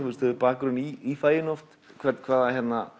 hefur bakgrunn í faginu hvaða